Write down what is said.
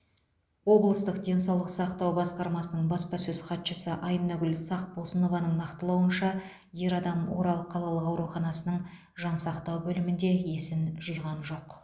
облыстық денсаулық сақтау басқармасының баспасөз хатшысы айнагүл сақпосынованың нақтылауынша ер адам орал қалалық ауруханасының жансақтау бөлімінде есін жиған жоқ